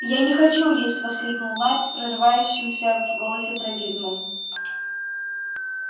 я не хочу есть воскликнул найд с прорывающимся в голосе трагизмом